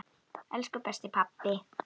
Elsku besti pabbi.